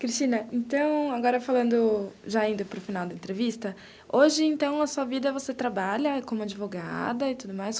Cristina, então, agora falando, já indo para o final da entrevista, hoje, então, na sua vida, você trabalha como advogada e tudo mais.